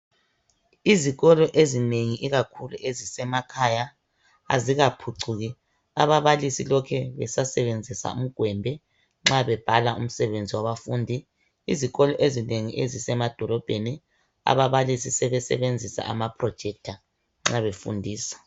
Izikolo ezinengi ikakhulu ezisemakhaya azikaphucuki ,ababalisi lokhe besasebenzisa umgwembe nxa bebhala umsebenzi wabafundi .Izikolo ezinengi ezisemadolobheni ababalisi sebesebenzisa ama projector nxa befundisa.